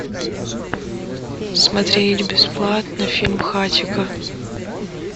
смотреть бесплатно фильм хатико